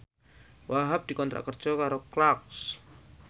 Wahhab dikontrak kerja karo Clarks